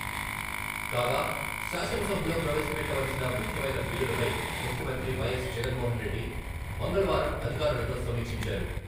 కాగా, శాసనసభలో ప్రవేశపెట్టవలసిన ముఖ్యమైన బిల్లులపై ముఖ్యమంత్రి వైఎస్ జగన్మోహన్రెడ్డి మంగళవారం అధికారులతో సమీక్షించారు.